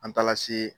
An taara se